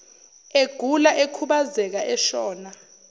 egula ekhubazeka eshona